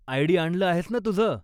ID. आणलं आहेस ना तुझं?